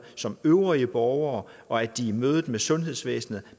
som øvrige borgere og at de i mødet med sundhedsvæsenet